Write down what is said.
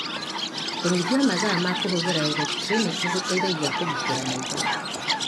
Kũnyihia mathaa ma kũhũthira elektriniki nĩ gũteithagia kũgitĩra maitho.